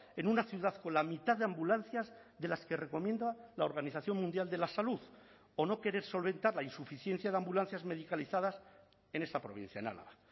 en una ciudad con la mitad de ambulancias de las que recomienda la organización mundial de la salud o no querer solventar la insuficiencia de ambulancias medicalizadas en esta provincia en álava